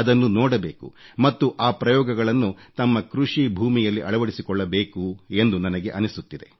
ಅದನ್ನು ನೋಡಬೇಕು ಮತ್ತು ಆ ಪ್ರಯೋಗಗಳನ್ನು ತಮ್ಮ ಕೃಷಿ ಭೂಮಿಯಲ್ಲಿ ಅಳವಡಿಸಿಕೊಳ್ಳಬೇಕು ಎಂದು ನನಗೆ ಅನಿಸುತ್ತಿದೆ